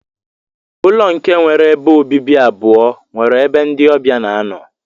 Ụlọ nke nwere ebe obibi abụọ nwere ebe ndi ọbia na anọ.